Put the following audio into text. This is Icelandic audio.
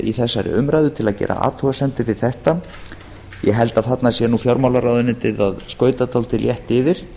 í þessari umræðu að gera athugasemdir við þetta ég held að þarna sé nú fjármálaráðuneytið að skauta dálítið létt yfir